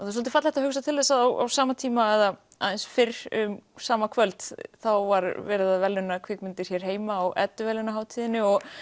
er svolítið fallegt að hugsa til þess að á sama tíma eða aðeins fyrr um sama kvöld þá var verið að verðlauna kvikmyndir hér heima á Edduverðlaunahátiðinni og